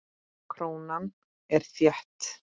Krónan er þétt.